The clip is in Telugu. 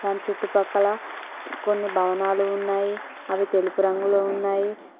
దాని చుట్టుపక్కల కొన్ని భవనాలు ఉన్నాయి అవి తెలుపు రంగులో ఉన్నాయి.